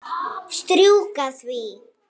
Strjúka því.